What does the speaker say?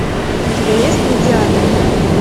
у тебя есть гладиатор